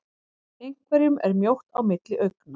Einhverjum er mjótt á milli augna